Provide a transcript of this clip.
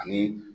Ani